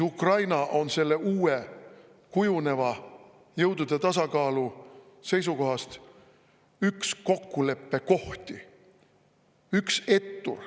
Ukraina on selle uue kujuneva jõudude tasakaalu seisukohast üks kokkuleppekohti, üks ettur.